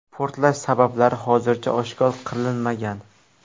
Portlash sabablari hozircha oshkor qilinmagan.